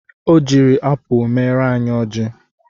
Ọ jiri apụ mere anyị ọjị